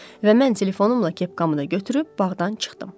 Və mən telefonumla kepkamı da götürüb bağdan çıxdım.